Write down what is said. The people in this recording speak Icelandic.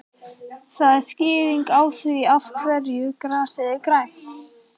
Það er skýringin á því af hverju grasið er grænt.